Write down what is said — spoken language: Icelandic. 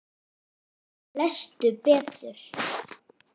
Lestu betur!